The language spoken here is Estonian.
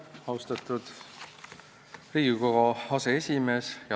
Austatud Riigikogu aseesimees!